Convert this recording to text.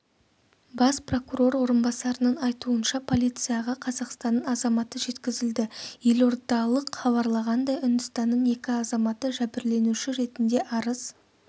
бас прокурор орынбасарының айтуынша полицияға қазақстанның азаматы жеткізілді елордалық хабарлағандай үндістанның екі азаматы жәбірленуші ретінде арыз